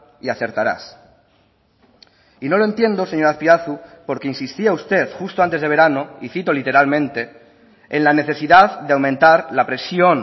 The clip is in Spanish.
y acertarás y no lo entiendo señor azpiazu porque insistía usted justo antes de verano y citó literalmente en la necesidad de aumentar la presión